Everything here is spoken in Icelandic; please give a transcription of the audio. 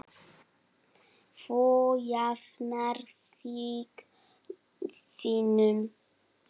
Þú jafnar þig vinur.